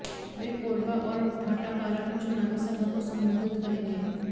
वे कोरबा और भाटापारा में चुनावी सभा को संबोधित करेंगे